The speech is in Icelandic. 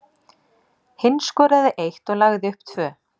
Hinn skoraði eitt og lagði upp tvö.